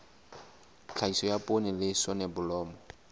tlhahiso ya poone le soneblomo